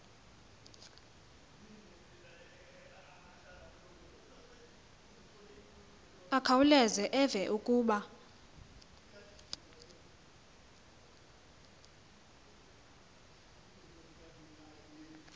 akhawuleze eve kuba